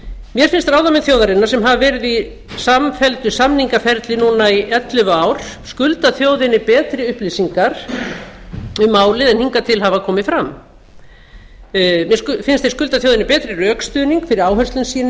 mér finnst ráðamenn þjóðarinnar sem hafa verið í samfelldu samningaferli í ellefu ár skulda þjóðinni betri upplýsingar um málið en hingað til hafa komið fram mér finnst þeir skulda þjóðinni betri rökstuðning fyrir áherslum sínum